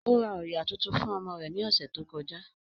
Ó ra òyà tuntun fún ọmọ rẹ̀ ní ọ̀sẹ̀ tó kọjá